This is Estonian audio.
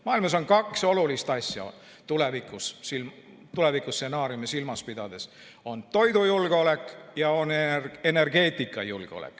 Maailmas on kaks olulist asja tulevikustsenaariumi silmas pidades: toidujulgeolek ja energeetikajulgeolek.